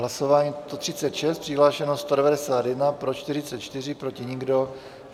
Hlasování číslo 136, přihlášeno 191, pro 44, proti nikdo.